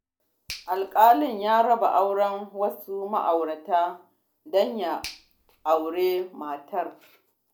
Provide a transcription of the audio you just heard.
Alƙalin ya raba auren wasu ma'aurata, don ya aure matar.